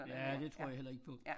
Ja det tror jeg heller ikke på